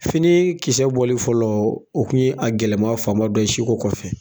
Fini kisɛ bɔlen fɔlɔ o kun ye a gɛlɛma fan ba dɔ si ko kɔfɛ.